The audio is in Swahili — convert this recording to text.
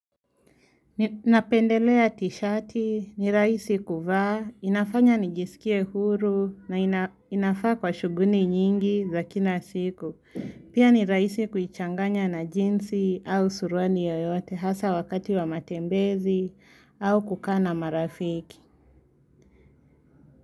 Napendelea tishati, ni raisi kuvaa, inafanya nijisikie huru na inafaa kwa shuguni nyingi za kina siku. Pia ni raisi kuichanganya na jinsi au surwani yoyote hasa wakati wa matembezi au kukana marafiki.